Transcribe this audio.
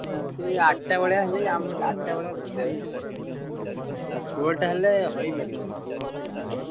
ଆ ଠଟା ବଳିଆ ହେଲେ ଆମର ଟିକେ ଆଠଟା ଭଳିଆ ଆଉ ଷୋଳଟା ହେଲେ ହଇପାରିବନି team ଏତେ ନାହାନ୍ତି।